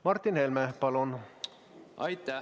Martin Helme, palun!